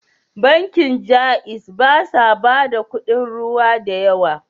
Bankin Jaiz ba sa bada kudin ruwa da yawa.